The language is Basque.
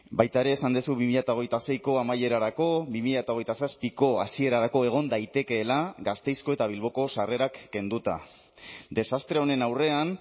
baita ere esan duzu bi mila hogeita seiko amaierarako bi mila hogeita zazpiko hasierarako egon daitekeela gasteizko eta bilboko sarrerak kenduta desastre honen aurrean